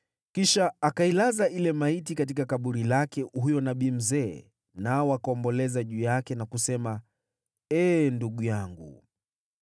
Kisha akailaza ile maiti katika kaburi lake huyo nabii mzee, nao wakaomboleza juu yake na kusema, “Ee ndugu yangu!”